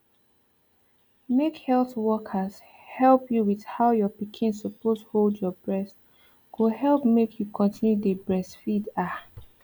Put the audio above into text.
make health workers help you with how your pikin suppose hold your breast go help make you continue dey breastfeed ah